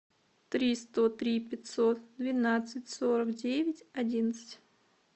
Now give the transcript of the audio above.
три сто три пятьсот двенадцать сорок девять одиннадцать